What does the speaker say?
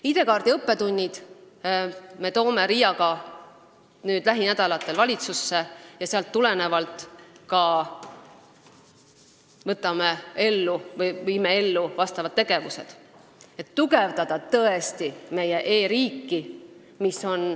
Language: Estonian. ID-kaardi õppetunnid me toome RIA-ga lähinädalatel valitsusse ja sealt tulenevalt viime ellu tegevused, et meie e-riiki tõesti tugevdada.